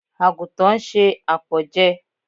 Àgùntàn ń se àpọ̀jẹ.